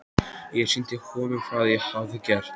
Ég sýndi honum hvað ég hafði gert.